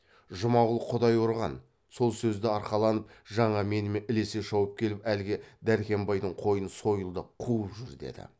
жұмағұл құдай ұрған сол сөзді арқаланып жаңа менімен ілесе шауып келіп әлгі дәркембайдың қойын сойылдап қуып жүр деді